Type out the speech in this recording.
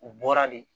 U bɔra de